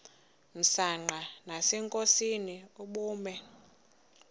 msanqa nasenkosini ubume